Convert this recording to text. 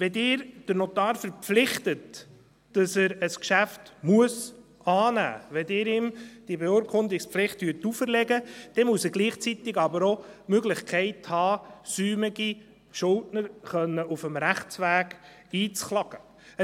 Wenn Sie einen Notar dazu verpflichten, dass er ein Geschäft annehmen muss, wenn Sie ihm diese Beurkundungspflicht auferlegen, dann muss er gleichzeitig aber auch die Möglichkeit haben, säumige Schuldner auf dem Rechtsweg einklagen zu können.